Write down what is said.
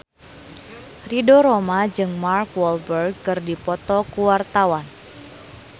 Ridho Roma jeung Mark Walberg keur dipoto ku wartawan